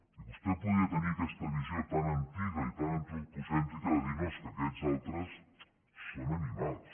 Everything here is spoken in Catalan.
i vostè podria tenir aquesta visió tan antiga i tan antropocèntrica de dir no és que aquests altres són animals